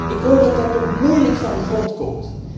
Ik hoor dat dat nog moeilijk van de grond komt.